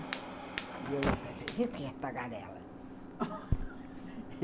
E eu falei para ele, vê o que é tagarela